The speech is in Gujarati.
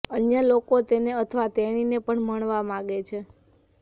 અન્ય લોકો તેને અથવા તેણીને પણ મળવા માગે છે